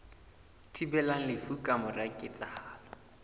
thibelang lefu ka mora ketsahalo